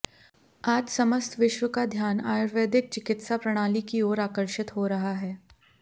आज समस्त विश्व का ध्यान आयुर्वेदिक चिकित्सा प्रणाली की ओर आकर्षित हो रहा है